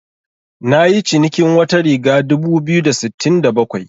Nayi cinikin wata riga dubu biyu da sittin da bakwai.